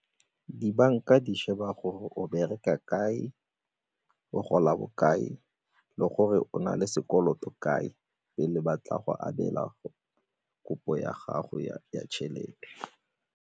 Dibanka di sheba gore o bereka kae, o gola bokae le gore o na le sekoloto kae pele ba tla go abela kopo ya gago ya tšhelete?